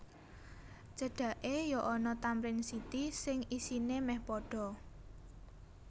Cedake yo ana Tamrin City sing isine meh podo